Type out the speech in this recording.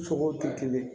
Sogow tɛ kelen ye